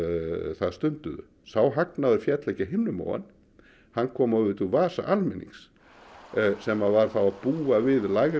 það stunduðu sá hagnaður féll ekki af himnum ofan hann kom auðvitað úr vasa almennings sem varð þá að búa við lægra